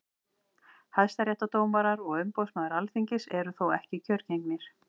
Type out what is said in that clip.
hæstaréttardómarar og umboðsmaður alþingis eru þó ekki kjörgengir